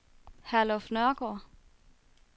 Herluf Nørgaard